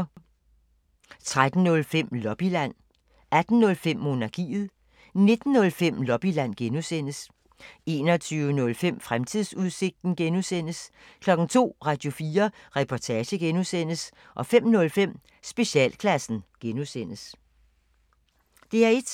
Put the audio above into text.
DR1